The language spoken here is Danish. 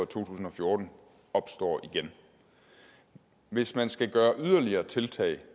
tusind og fjorten opstår igen hvis man skal gøre yderligere tiltag